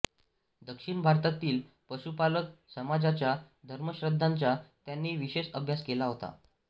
दक्षिण भारतातील पशुपालक समाजाच्या धर्मश्रद्धांचा त्यांनी विशेष अभ्यास केला होता